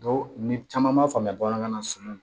ni caman m'a faamuya bamanankan na sunɔgɔ